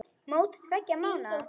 Mót tveggja mánaða.